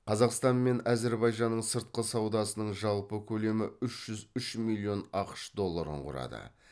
қазақстан мен әзірбайжанның сыртқы саудасының жалпы көлемі үш жүз үш миллион ақш долларын құрады